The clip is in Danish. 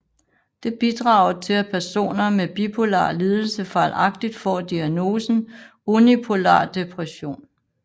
Det bidrager til at personer med bipolar lidelse fejlagtigt får diagnosen unipolar depression